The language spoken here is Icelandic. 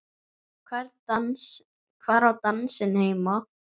Hvar á dansinn heima?